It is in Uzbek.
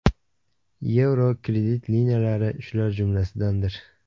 yevro) kredit liniyalari shular jumlasidandir.